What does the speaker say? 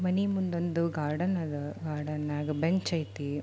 ಮನೆ ಮುಂದು ಒಂದು ಗಾರ್ಡನ್ ಐದೆ ಗಾರ್ಡನ್ ಅಗೆ ಬೆಂಚ್ ಐತೆ.